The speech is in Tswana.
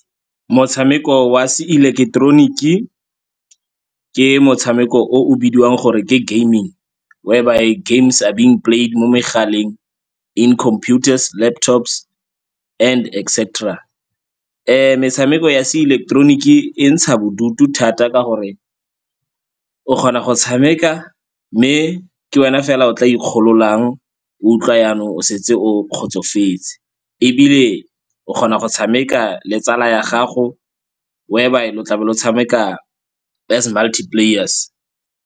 Motshameko wa seileketeroniki ke motshameko o o bidiwang gore ke gaming, whereby games are being played mo megaleng, in computers, laptops and etc. Metshameko ya seileketeroniki e ntsha bodutu thata ka gore o kgona go tshameka mme ke wena fela o tla ikgololang, o utlwa jaanong o setse o kgotsofetse. Ebile o kgona go tshameka le tsala ya gago whereby lo tla be lo tshameka as multi-players.